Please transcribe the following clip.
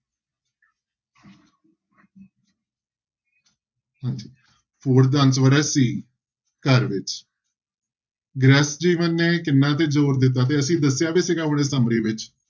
Four ਦਾ answer ਹੈ c ਘਰ ਵਿੱਚ ਗ੍ਰਿਹਸਥ ਜੀਵਨ ਨੇ ਕਿਹਨਾਂ ਤੇ ਜ਼ੋਰ ਦਿੱਤਾ ਤੇ ਅਸੀਂ ਦੱਸਿਆ ਵੀ ਸੀਗਾ ਹੁਣੇ summary ਵਿੱਚ।